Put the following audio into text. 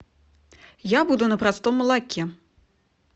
я буду на простом молоке